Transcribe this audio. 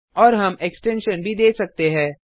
और हम एक्सटेंसन भी दे सकते है